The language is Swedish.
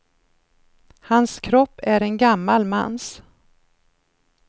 Hans kropp är en gammal mans.